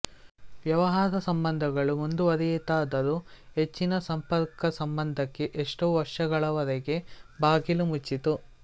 ವ್ಯವಹಾರ ಸಂಬಂಧಗಳು ಮುಂದುವರಿಯಿತಾದರೂ ಹೆಚ್ಚಿನ ಸಂಪರ್ಕಸಂಬಂಧಕ್ಕೆ ಎಷ್ಟೋ ವರ್ಷಗಳವರೆಗೆ ಬಾಗಿಲು ಮುಚ್ಚಿತ್ತು